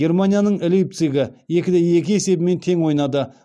германияның лейпцигі екі де екі есебімен тең ойнады